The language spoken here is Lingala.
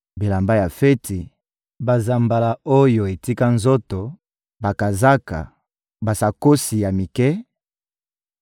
bilamba ya feti, banzambala oyo etika nzoto, bakazaka, basakosi ya mike,